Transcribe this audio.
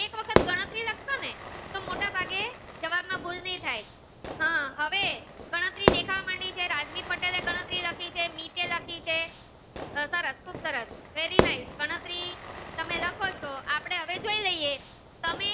જવાબ માં ભૂલ ની થાય હમ હવે ગણતરી દેખાવા મડી છે રાજવી પટેલ એ ગણતરી લખી છે મીત એ લખી છે સરસ ખુબ સરસ very nice ગણતરી તમે લખો ચો આપડે હવે જોઈએ તમે